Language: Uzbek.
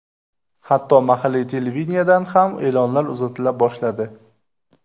Hatto mahalliy televideniyedan ham e’lonlar uzatila boshladi.